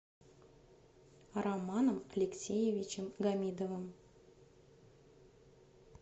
романом алексеевичем гамидовым